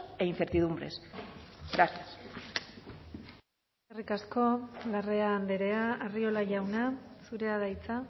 e incertidumbres gracias eskerrik asko larrea andrea arriola jauna zurea da hitza